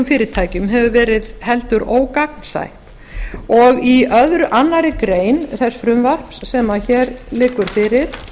fyrirtækjum hefur verið heldur ógagnsætt og í annarri grein þess frumvarps sem hér liggur fyrir